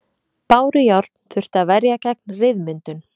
Bárujárn þurfti að verja gegn ryðmyndun.